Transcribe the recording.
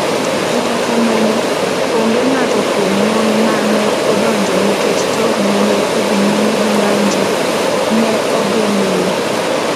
Kata kamano, onge ng’ato kuom mon ma ne odonjo nikech jogo ma ne odhi nyime gi ng’anjo ne ogeng’o yo.